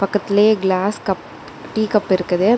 பக்கத்திலேயே glass cup tea cup இருக்குது.